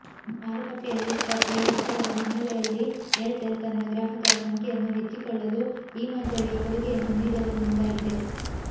ಮಾರುಕಟ್ಟೆಯಲ್ಲಿ ಸ್ಪರ್ಧೇ ಹೆಚ್ಚಾದ ಹಿನ್ನಲೆಯಲ್ಲಿ ಏರ್ಟೆಲ್ ತನ್ನ ಗ್ರಾಹಕರ ಸಂಖ್ಯೆಯನ್ನು ಹೆಚ್ಚಿಕೊಳ್ಳಲು ಈ ಮಾದರಿಯ ಕೊಡುಗೆಯನ್ನು ನೀಡಲು ಮುಂದಾಗಿದೆ